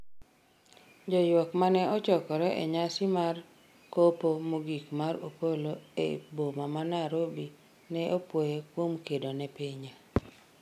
joywak mane ochokore e nyasi mar kopo mogik mar Opolo e boma ma Nairobi ne opwoye kuom kedo ne pinye